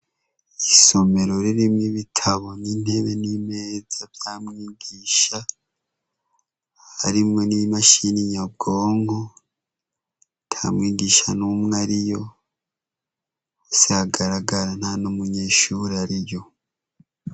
Isomero ririmwo ibitabo n'intebe n'imeza vya mwigisha harimwo n'imashini nyabwonko ata mwigisha numwe ariyo vyagaragara nta n'umunyeshure numwe ariyo.